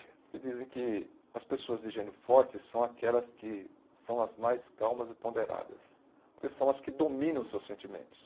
E dizem que as pessoas de gênio forte são aquelas que são as mais calmas e ponderadas, porque são as que dominam os seus sentimentos.